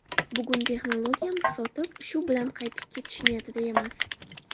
Bugun texnologiyamiz sotib, shu bilan qaytib ketish niyatida emas.